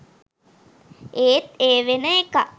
ඒත් ඒ වෙන එකක්